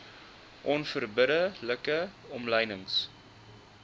onverbidde like omlynings